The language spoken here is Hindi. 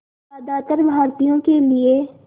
ज़्यादातर भारतीयों के लिए